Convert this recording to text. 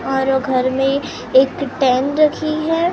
और घर में एक टेन रखी है।